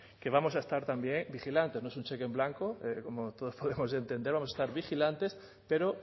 que vamos a estar también vigilantes no es un cheque en blanco como todos podemos entender vamos a estar vigilantes pero